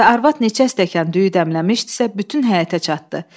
Və arvad neçə stəkan düyü dəmləmişdisə, bütün həyətə çatdı.